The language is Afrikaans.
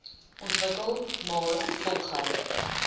ontwikkel maar volgehoue